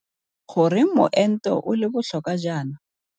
Goreng moento o le botlhokwa jaana?